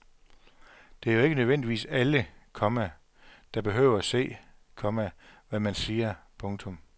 Det er jo ikke nødvendigvis alle, komma der behøver se, komma hvad man siger. punktum